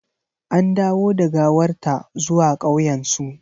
An dawo da gawar ta zuwa ƙauyensu.